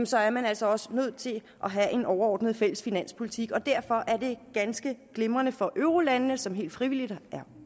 så er man altså også nødt til at have en overordnet fælles finanspolitik og derfor er det ganske glimrende for eurolandene som helt frivilligt er